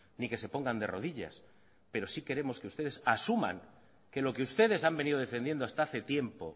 ni que se pongan de rodillas pero sí queremos que ustedes asuman que lo que ustedes han venido defendiendo hasta hace tiempo